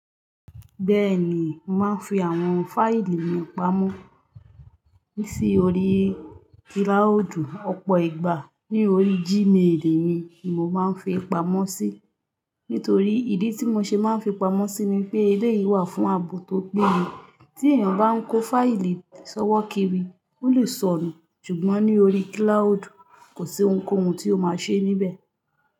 Bẹ́ẹ̀ ni, mo màá ń fi àwọn fáìlì mi pamọ́. Ní sí orí kílàúúdù ọ̀pọ̀ ìgbà. Ní orí G-mail mi ni mo máa ń fi pamọ́ sí. Nítorí ìdí tí mo ṣe máa ń fi pamọ́ sí ni pé eléyìí wà fún ààbò tó péye. Tí èèyàn bá ń kó fáìlì sọ́wọ́ kiri, ó lè sọnù. Ṣùgbọ́n ní orí kílàúúdù, kò sí ohunkóhun tí ó máa ṣe níbẹ̀